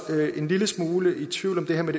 en lille smule i tvivl om det her med